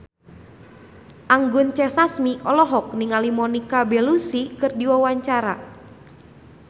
Anggun C. Sasmi olohok ningali Monica Belluci keur diwawancara